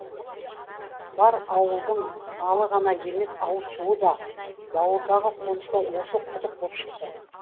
бар ауылдың малы ғана емес ауыз суы да бауырдағы қоныста осы құдық боп шықты